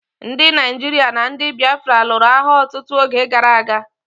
Ndi Naijiria na ndi Biafra lụrụ agha ọtụtụ oge gara aga.